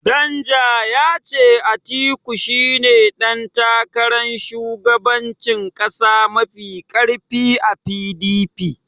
Danja ya ce Atiku shine ɗan takarar shugabancin ƙasa mafi ƙarfi a PDP.